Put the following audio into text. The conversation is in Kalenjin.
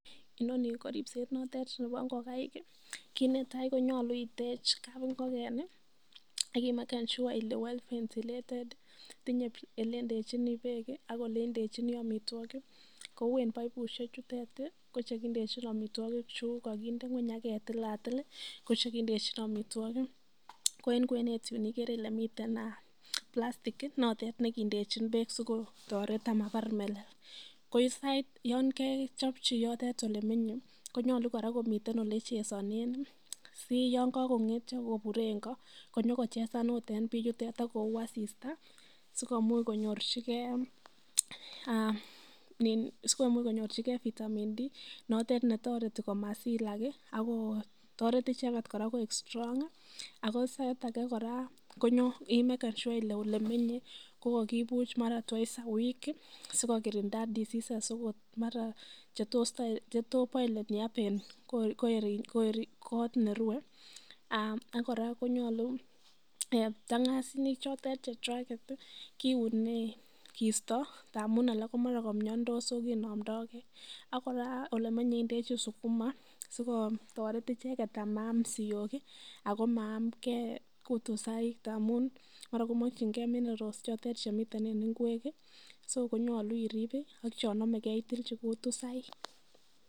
INoni ko ripset notet nebo ngokaik, kit netai konyolu itech kabingoken ak imeken sure ile well ventilated tiny ele indechini beek , ak ol indechini amitwogik, en baibushek chutet ko che kindechin amitwogik, chu koginde ngweny ak ketilatil ko che kendechin amitwogik. Ko en kwenet yu ikere ile miten plastick notet nekindechin beek sikotoret ama bar melel. Ko yon kechopchi yotet ole menye konyolu kora komiten le chesonen si yon kogong'entyo kobure en ko, konyokochesan agot en bii yutet ak koyuu asista sikomuch konyorjige vitamin D notete ne toret komasilak ak ko toret icheget kora koik strong ago kora ko sait age kora imeken sure kole ele menye ko kokibuch mara twice a week sikokirinda diseases agot mara chetoo pile up en kot nerue ak kora konyolu, ptangasinik chotet chechwaget kiune kiisto ngamun alak komara komiondos so konomdoge. Ak kora olemenye indechi sukuma sikotoret icheket amaam siyok ago maamge kotusaik ngamun mara komokinge minerals chotet chemiten en ngwek so konyolu irib ak chon omege itilchi kutusaik.